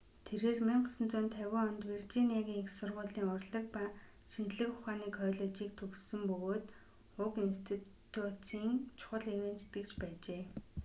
тэрээр 1950 онд виржиниагийн их сургуулийн урлаг ба шинжлэх ухааны коллежийг төгссөн бөгөөд уг институцийн чухал ивээн тэтгэгч байжээ